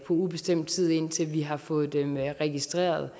ubestemt tid indtil vi har fået dem registreret